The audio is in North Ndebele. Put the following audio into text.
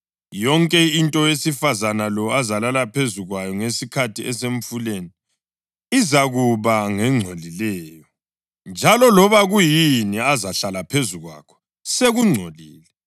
Yonke into owesifazane lo azalala phezu kwayo ngesikhathi esemfuleni izakuba ngengcolileyo, njalo loba kuyini azahlala phezu kwakho, sekungcolile.